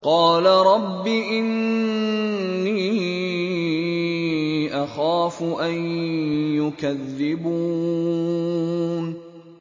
قَالَ رَبِّ إِنِّي أَخَافُ أَن يُكَذِّبُونِ